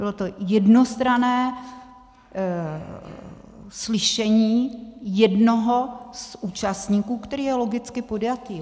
Bylo to jednostranné slyšení jednoho z účastníků, který je logicky podjatý.